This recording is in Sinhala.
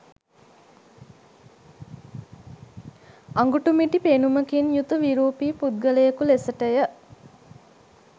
අගුටුමිටි පෙනුමකින් යුතු විරූපී පුද්ගලයෙකු ලෙසටය